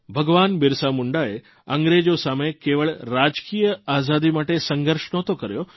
ભગવાન બિરસા મુંડાએ અંગ્રેજો સામે કેવળ રાજકીય આઝાદી માટે સંઘર્ષ નહોતો કર્યો